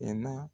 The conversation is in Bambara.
Mɛ